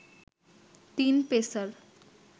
তিন পেসার